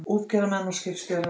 Útgerðarmenn og skipstjórar